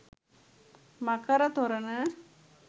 මකර තොරණ